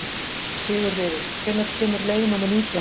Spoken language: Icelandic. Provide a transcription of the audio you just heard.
Sigurliði, hvenær kemur leið númer nítján?